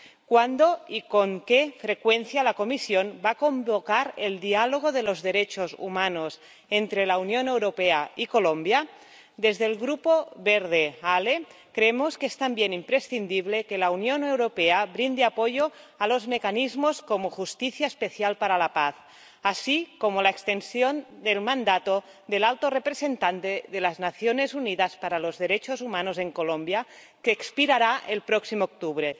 ¿Cuándo y con qué frecuencia la Comisión va a convocar el diálogo de los derechos humanos entre la Unión Europea y Colombia? Desde el Grupo Verts ALE creemos que es también imprescindible que la Unión Europea brinde apoyo a mecanismos como Justicia Especial para la Paz y a la prórroga del mandato del representante de las Naciones Unidas para los derechos humanos en Colombia, que expirará el próximo octubre.